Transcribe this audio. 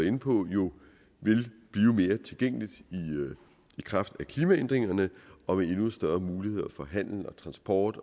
inde på jo vil blive mere tilgængeligt i kraft af klimaændringerne og med endnu større muligheder for handel transport